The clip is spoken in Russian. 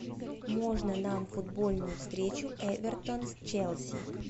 можно нам футбольную встречу эвертон с челси